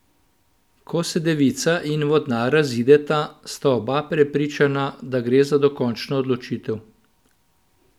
Ko se devica in vodnar razideta, sta oba prepričana, da gre za dokončno odločitev.